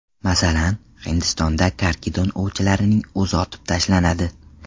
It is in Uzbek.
Masalan, Hindistonda karkidon ovchilarining o‘zi otib tashlanadi.